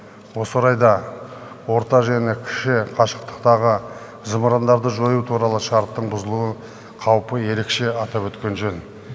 осы орайда орта және кіші қашықтықтағы зымырандарды жою туралы шарттың бұзылуы қаупі ерекше атап өткен жөн